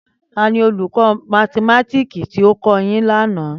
Tani oluko mathimatiki ti o ko yin lana?